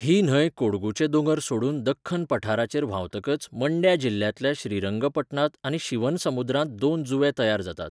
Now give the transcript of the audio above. ही न्हंय कोडगूचे दोंगर सोडून दख्खन पठाराचेर व्हांवतकच मंड्या जिल्ल्यांतल्या श्रीरंगपटणांत आनी शिवनसमुद्रांत दोन जुंवे तयार जातात.